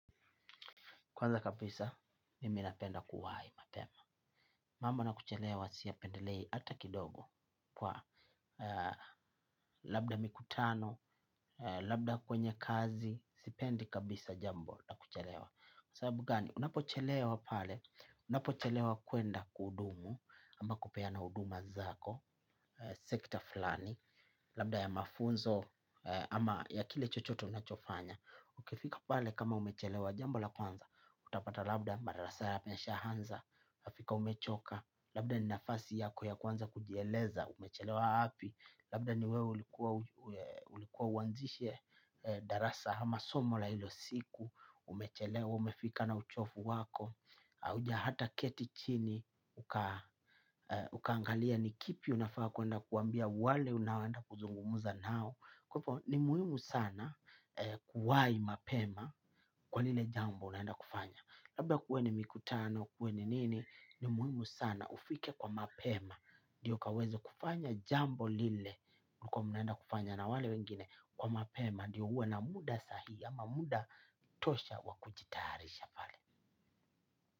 Kwanza kapisa, mimi napenda kuwai mapema. Mambo na kuchelewa siyapendelei ata kidogo kwa labda mikutano, labda kwenye kazi, sipendi kabisa jambo na kuchelewa. Sabu gani? Unapo chelewa pale? Unapo chelewa kwenda kuhudumu, ama kupeana huduma zako, sekta flani, labda ya mafunzo, ama ya kile chochote unachofanya. Ukifika pale kama umechelewa jambo la kwanza utapata labda madarasa yameshaanza ukifika umechoka. Labda ni nafasi yako ya kwanza kujieleza umechelewa wapi. Labda ni wewe ulikua uanzishe darasa ama somo la hilo siku umechelewa umefika na uchovu wako hauja hata keti chini. Ukaangalia ni kipi unafaa kwenda kuambia wale unaoenda kuzungumza nao. Kwa hivo ni muhimu sana kuwai mapema kwa lile jambo unaenda kufanya labda kuwe ni mikutano kuwe ni nini ni muhimu sana ufike kwa mapema ndio kaweze kufanya jambo lile mlikua mnaenda kufanya na wale wengine kwa mapema ndio uwe na muda sahi ama muda tosha wakujitarisha.